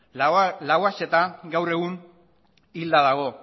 lauaxeta gaur egun hilda dago